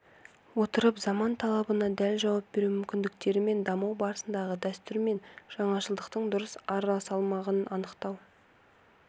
отырып заман талабына дәл жауап беру міндеттерімен даму барысындағы дәстүр мен жаңашылдықтың дұрыс арасалмағын анықтау